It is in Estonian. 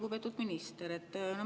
Lugupeetud minister!